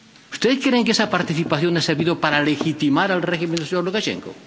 ¿Ustedes creen que esa participación ha servido para legitimar al régimen del señor Lukashenko?